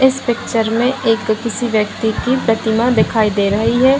इस पिक्चर में एक किसी व्यक्ति की प्रतिमा दिखाई दे रही है।